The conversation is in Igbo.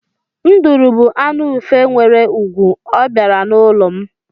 Nduru bú anụ ufe nwere ùgwù, ọ bịara n'ụlọ m.